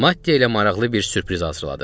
Mattia ilə maraqlı bir sürpriz hazırladıq.